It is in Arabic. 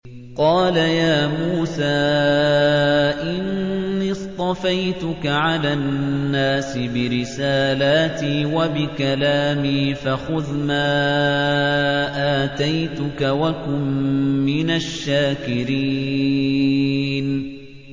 قَالَ يَا مُوسَىٰ إِنِّي اصْطَفَيْتُكَ عَلَى النَّاسِ بِرِسَالَاتِي وَبِكَلَامِي فَخُذْ مَا آتَيْتُكَ وَكُن مِّنَ الشَّاكِرِينَ